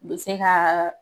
Be se kaa